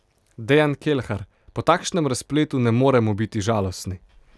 Dejan Kelhar: "Po takšnem razpletu ne moremo biti žalostni.